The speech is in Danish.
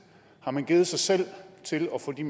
har man givet sig selv til at få de